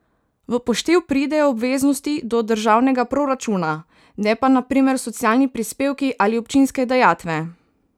V poštev pridejo obveznosti do državnega proračuna, ne pa na primer socialni prispevki ali občinske dajatve.